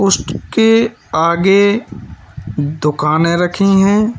इसके आगे दुकानें रखी हैं।